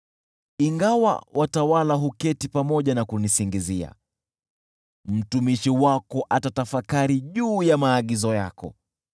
Ingawa watawala huketi pamoja na kunisingizia, mtumishi wako atatafakari juu ya maagizo yako.